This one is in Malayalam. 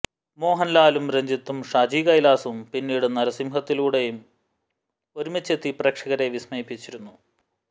മോഹന്ലാലും രഞ്ജിത്തും ഷാജി കൈലാസും പിന്നീട് നരസിംഹത്തിലൂടെയും ഒരുമിച്ചെത്തി പ്രേക്ഷകരെ വിസ്മയിപ്പിച്ചിരുന്നു